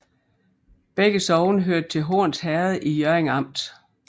Begge sogne hørte til Horns Herred i Hjørring Amt